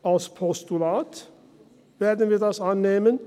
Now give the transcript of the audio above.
: Als Postulat werden wir dies annehmen.